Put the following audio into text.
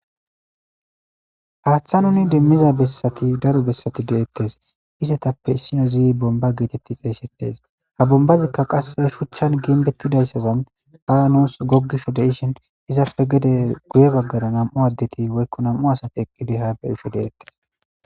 haaththa nuni demmiza bessati daro bessati deettes izetappe issino zi bomba geetetti xeeysettes ha bombazikka qasse shuchchan ginbettidayssazan haa nuus gogisho de ishin izappe gede guye baggara nam7u addeti woykko nam7u asati eqqi deha be isho deettes